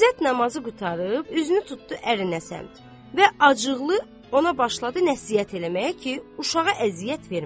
İzzət namazı qurtarıb, üzünü tutdu ərinə səmt və acıqlı ona başladı nəsihət eləməyə ki, uşağı əziyyət verməsin.